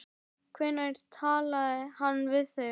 Hvenær talaði hann við þig?